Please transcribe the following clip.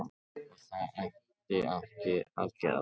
Og það ætti ekki að gera það.